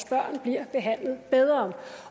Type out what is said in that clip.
børnene bliver behandlet bedre